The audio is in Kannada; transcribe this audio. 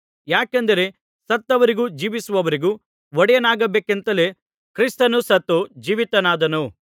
ಯಾಕೆಂದರೆ ಸತ್ತವರಿಗೂ ಜೀವಿಸುವವರಿಗೂ ಒಡೆಯನಾಗಬೇಕಂತಲೇ ಕ್ರಿಸ್ತನು ಸತ್ತು ಜೀವಿತನಾದನು